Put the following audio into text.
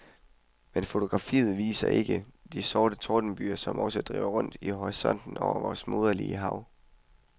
Men fotografiet viser ikke de sorte tordenbyger, som også driver rundt i horisonten over vort moderlige hav.